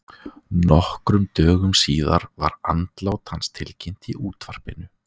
Nokkrum dögum síðar var andlát hans tilkynnt í útvarpinu.